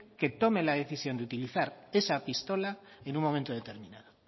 que tome la decisión de utilizar esa pistola en un momento determinado